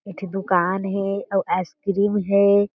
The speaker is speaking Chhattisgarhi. एक ठी दुकान हें अउ आइस क्रीम हें।